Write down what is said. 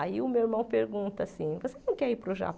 Aí o meu irmão pergunta assim, você não quer ir para o